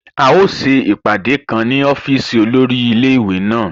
A o ṣè apádẹ̀ kán ní ọ̀fíìsì olórí ilẹ̀-iwé na.